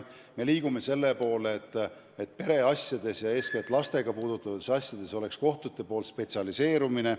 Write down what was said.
Me liigume selle poole, et pereasjades ja eeskätt lapsi puudutavates asjades on kohtutes tagatud spetsialiseerumine.